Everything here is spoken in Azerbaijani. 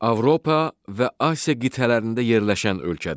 Avropa və Asiya qitələrində yerləşən ölkədir.